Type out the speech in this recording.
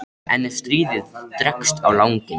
En ef stríðið dregst á langinn?